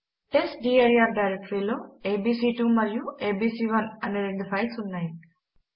test dir డైరెక్టరీలో ABC two మరియు ABC one అనే రెండు ఫైల్స్ ఉన్నాయి